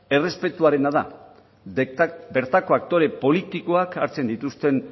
errespetuarena da bertako aktore politikoak hartzen dituzten